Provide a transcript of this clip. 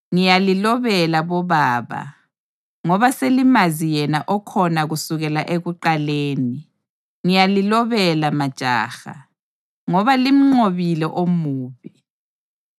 Ngiyalilobela bobaba, ngoba selimazi yena okhona kusukela ekuqaleni. Ngiyalilobela majaha, ngoba limnqobile omubi.